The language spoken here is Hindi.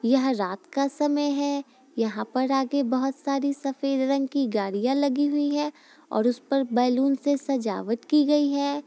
यह रात का समय है यहाँ पर आगे बहुत सारी सफेद रंग की गाड़ियां लगी हुई है और उस पर बैलून से सजावट की गई है।